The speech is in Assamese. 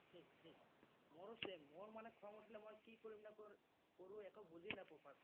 মোৰো same মোৰো খং উঠিলে মানে মই কি কৰিম নকৰিম, একো বুজি নাপাওঁ ।